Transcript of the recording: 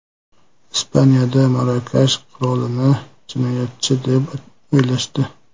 Ispaniyada Marokash qirolini jinoyatchi deb o‘ylashdi.